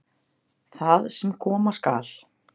Það sem koma skal